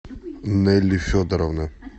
нелли федоровна